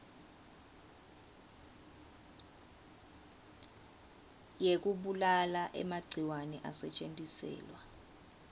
yekubulala emagciwane asetjentiselwa